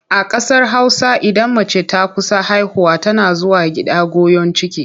A ƙasar Hausa idan mace ta kusa haihuwa tana zuwa gida goyon ciki.